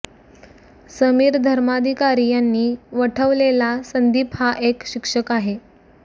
समीर धर्माधिकारी यांनी वठवलेला संदीप हा एक शिक्षक आहे